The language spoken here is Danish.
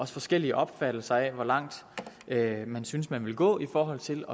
forskellige opfattelser af hvor langt man synes man vil gå i forhold til